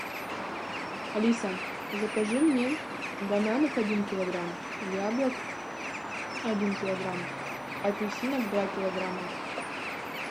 алиса закажи мне бананов один килограмм яблок один килограмм апельсинов два килограмма